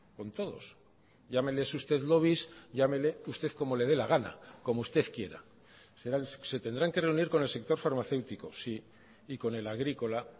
con todos llámeles usted lobbies llámele usted como le de la gana como usted quiera se tendrán que reunir con el sector farmacéutico sí y con el agrícola